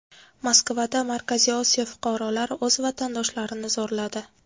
Moskvada Markaziy Osiyo fuqarolari o‘z vatandoshlarini zo‘rladi.